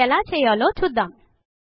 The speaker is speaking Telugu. అది ఎలా చెయ్యలొ చూద్దాము